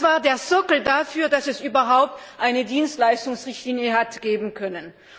Das war der Sockel dafür, dass es überhaupt eine Dienstleistungsrichtlinie hat geben können.